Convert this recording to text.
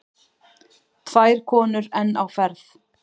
Tvær konur enn á ferð.